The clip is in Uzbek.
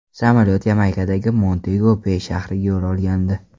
Samolyot Yamaykadagi Montego-Bey shahriga yo‘l olgandi.